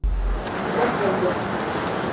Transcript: Rögnvaldur